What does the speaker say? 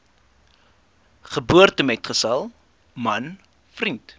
geboortemetgesel man vriend